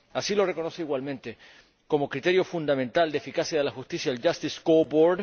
Así lo reconoce igualmente, como criterio fundamental de eficacia de la justicia, el Justice Scoreboard